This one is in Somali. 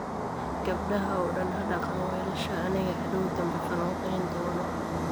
Gabadaha oo dan hadaqan waalishaa, anigaa hadoow danbe falanqeyn dono